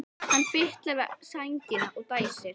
Hann fitlar við sængina og dæsir.